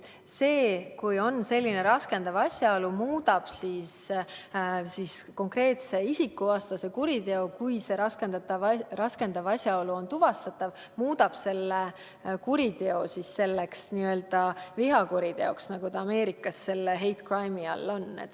See, kui esineb selline raskendav asjaolu, muudab konkreetse isikuvastase kuriteo, juhul kui raskendav asjaolu on tuvastatav, n-ö vihakuriteoks, nagu ta Ameerikas hate crime'i all on.